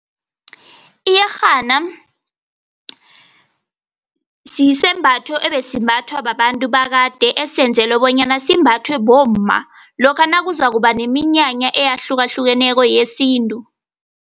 Iyerhana sisembatho esimbathwa babantu bakade, esiyenzelwe bonyana simbathwe bomma lokha nakuzakuba neminyanya eyahlukahlukeneko yesintu.